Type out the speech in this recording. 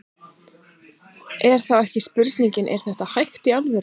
En þá er spurningin, er þetta hægt í alvörunni?